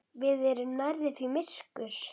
Við erum nærri því myrkur